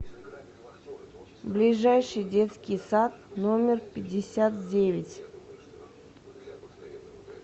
ближайший детский сад номер пятьдесят девять